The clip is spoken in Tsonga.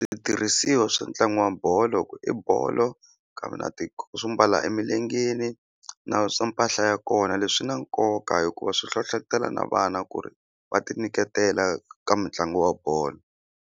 Switirhisiwa swa ntlangu wa bolo i bolo kambe na swo mbala emilengeni na mpahla ya kona leswi swi na nkoka hikuva swi hlohlotelo na vana ku ri va tinyiketela ka mitlangu wa bolo.